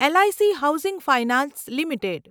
leak housing finance limited